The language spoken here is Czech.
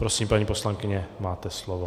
Prosím, paní poslankyně, máte slovo.